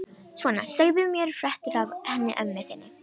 Svona, segðu mér fréttir af henni ömmu þinni.